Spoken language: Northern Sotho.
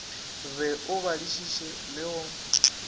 be o badišiše le go